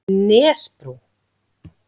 Nesbrú